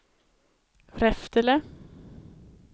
Reftele